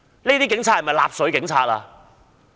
這些警察是否納粹警察？